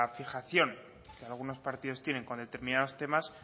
fijación que algunos partidos tiene con determinados temas